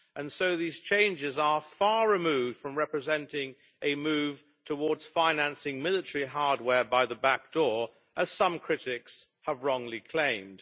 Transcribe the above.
So these changes are far removed from representing a move towards financing military hardware by the back door, as some critics have wrongly claimed.